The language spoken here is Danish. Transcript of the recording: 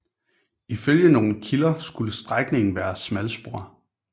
Ifølge nogle kilder skulle strækningen være smalspor